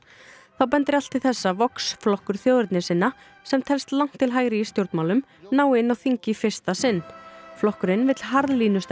þá bendir allt til þess að Vox flokkur þjóðernissinna sem telst langt til hægri í stjórnmálum nái inn á þing í fyrsta sinn flokkurinn vill harðlínustefnu